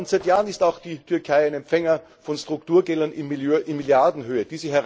Seit Jahren ist auch die Türkei ein Empfänger von Strukturgeldern in Milliardenhöhe.